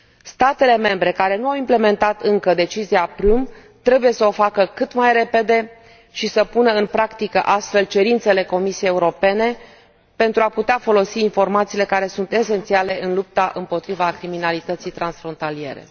Statele membre care nu au implementat încă decizia Prüm trebuie să o facă cât mai repede și să pună în practică astfel cerințele Comisiei Europene pentru a putea folosi informațiile care sunt esențiale în lupta împotriva criminalității transfrontaliere.